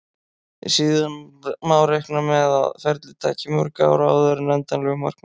Síðan má reikna með að ferlið taki mörg ár áður en endanlegu markmiði er náð.